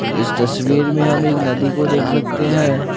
इस तस्वीर में हम एक नदी को देख सकते हैं।